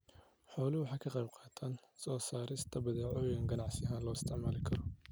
Xooluhu waxay ka qayb qaataan soo saarista badeecooyin ganacsi ahaan loo isticmaali karo.